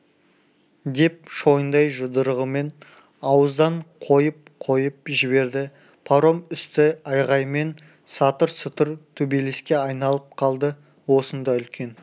деп шойындай жұдырығымен ауыздан қойып-қойып жіберді паром үсті айғай мен сатыр-сұтыр төбелеске айналып қалды осында үлкен